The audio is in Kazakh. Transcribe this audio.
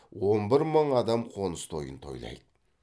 он бір мың адам қоныс тойын тойлайды